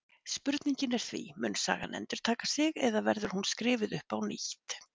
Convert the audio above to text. Spurningin er því: Mun sagan endurtaka sig eða verður hún skrifuð upp á nýtt?